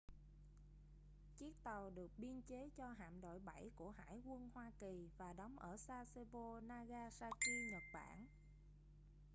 chiếc tàu được biên chế cho hạm đội 7 của hải quân hoa kỳ và đóng ở sasebo nagasaki nhật bản